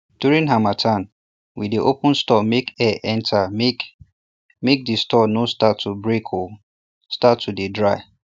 during harmattan we dey open store make air enter make make the store no start to break o start to dey dry